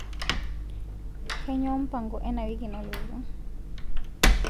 kainyoo mpango ena wiki nalotu